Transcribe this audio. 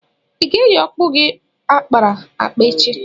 ị ga-eyi okpu gi akpara akpa echi?